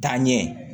Taa ɲɛ